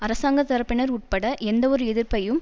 அரசாங்க தரப்பினர் உட்பட எந்தவொரு எதிர்ப்பையும்